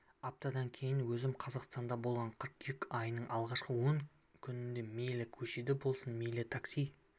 аптадан кейін өзім қазақстанда болған қыркүйек айының алғашқы он күнінде мейлі көшеде болсын мейлі такси